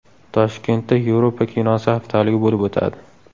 Toshkentda Yevropa kinosi haftaligi bo‘lib o‘tadi.